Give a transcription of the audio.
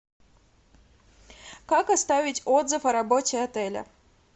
как оставить отзыв о работе отеля